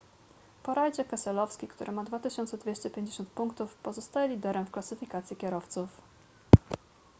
po rajdzie keselowski który ma 2250 punktów pozostaje liderem w klasyfikacji kierowców